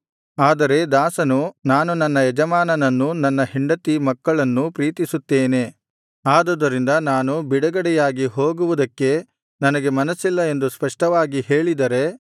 ಆದರೆ ದಾಸನು ನಾನು ನನ್ನ ಯಜಮಾನನ್ನೂ ನನ್ನ ಹೆಂಡತಿ ಮಕ್ಕಳನ್ನು ಪ್ರೀತಿಸುತ್ತೇನೆ ಆದುದರಿಂದ ನಾನು ಬಿಡುಗಡೆಯಾಗಿ ಹೋಗುವುದಕ್ಕೆ ನನಗೆ ಮನಸಿಲ್ಲ ಎಂದು ಸ್ಪಷ್ಟವಾಗಿ ಹೇಳಿದರೆ